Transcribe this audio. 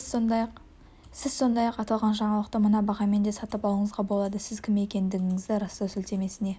сіз сондай-ақ аталған жаңалықты мына бағамен де сатып алуыңызға болады сіз кім екендігіңізді растау сілтемесіне